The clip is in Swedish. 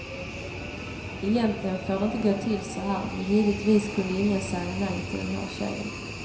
Egentligen får det inte gå till så här, men givetvis kunde ingen säga nej till den här tjejen.